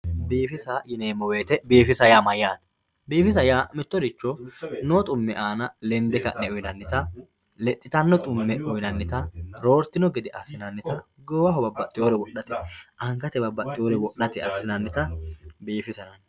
Biifisa yineemo woyite biifisa yaa mayate, biifissa yaa mitoricho noo xu'me aanna lende ka'ne uyinanita lexitano xu'me uyinannita rooritino gede asinanitta goowaho babaxiwore wodhate angate babaxiwore wodhate asinanita biifisate yinanni